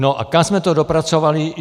No a kam jsme to dopracovali?